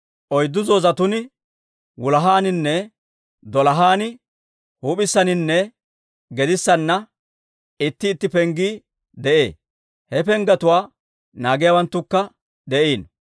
Oyddu zoozetuun wulahaaninne, dolahaan, huup'issaninne gedissanna itti itti penggii de'ee; he penggetuwaa naagiyaawanttukka de'iino.